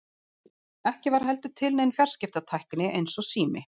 ekki var heldur til nein fjarskiptatækni eins og sími